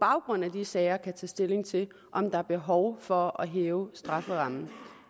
baggrund af de sager tage stilling til om der er behov for at hæve strafferammen